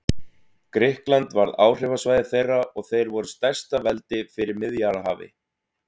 Grikkland varð áhrifasvæði þeirra og þeir voru stærsta veldi fyrir Miðjarðarhafi.